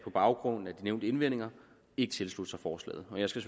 baggrund af de nævnte indvendinger ikke tilslutte sig forslaget og jeg skal